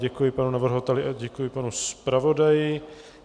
Děkuji panu navrhovateli a děkuji panu zpravodaji.